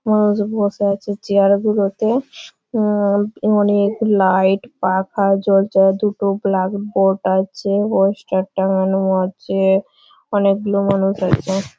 মানুষ বসে আছে চেয়ার গুলো তে অ্যাঁ অনেক লাইট পাখা জ্বলছে। দুটো ব্ল্যাক বোর্ড আছে অয়েস্টার টাঙানো আছে-এ আনেক গুলো মানুষ আছে।